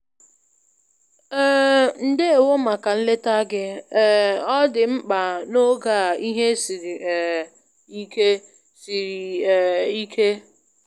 um Ndewo màkà nleta gị, um ọ dị mkpa n'oge a ihe siri um ike. siri um ike.